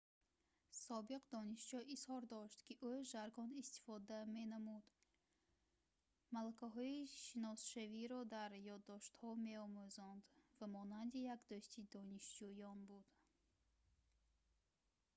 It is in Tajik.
собиқ донишҷӯ изҳор дошт ки ӯ жаргон истифода менамуд малакаҳои шиносшавиро дар ёддоштҳо меомӯзонд ва монанди як дӯсти донишҷӯён буд